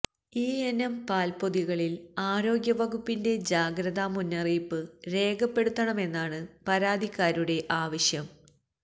ഈയിനം പാല്പ്പൊതികളില് ആരോഗ്യവകുപ്പിന്റെ ജാഗ്രതാ മുന്നറിയിപ്പ് രേഖപ്പെടുത്തണമെന്നാണ് പരാതിക്കാരുടെ ആവശ്യം